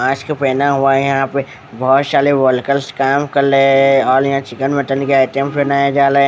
Mask पेहना हुआ है यहाँ पे बहुत सारे वर्करस काम कर रहे है और यहाँ चिकन मटन के आइटम बनाया जा रहा है ।